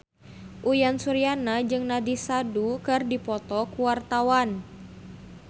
Uyan Suryana jeung Nandish Sandhu keur dipoto ku wartawan